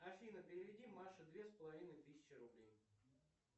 афина переведи маше две с половиной тысячи рублей